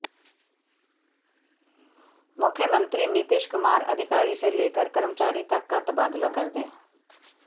मुख्यमंत्री नीतीश कुमार अधिकारी से लेकर कर्मचारी तक का तबादला कर दें